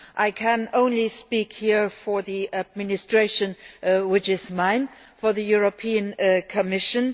I can only speak here for the administration which is mine, for the European Commission.